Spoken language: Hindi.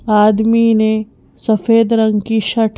आदमी ने सफेद रंग की शर्ट --